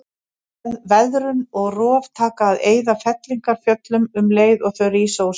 Veðrun og rof taka að eyða fellingafjöllunum um leið og þau rísa úr sjó.